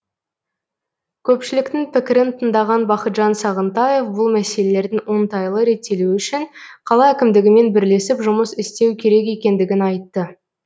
көпшіліктің пікірін тыңдаған бақытжан сағынтаев бұл мәселелердің оңтайлы реттелуі үшін қала әкімдігімен бірлесіп жұмыс істеу керек екендігін айтты